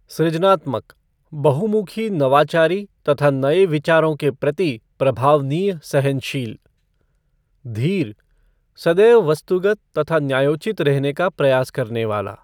सृजनात्मक बहुमुखी नवाचारी तथा नए विचारों के प्रति प्रभावनीय सहनशील धीर सदैव वस्तुगत तथा न्यायोचित रहने का प्रयास करने वाला।